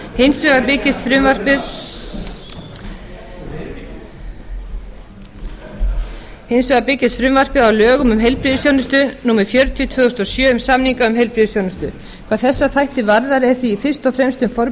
formi hins vegar byggist frumvarpið á lögum um heilbrigðisþjónustu númer fjörutíu tvö þúsund og sjö um samninga um heilbrigðisþjónustu hvað þessa þætti varðar er því fyrst og fremst um